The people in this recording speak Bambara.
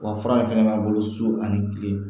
Wa fura in fɛnɛ b'an bolo so ani kile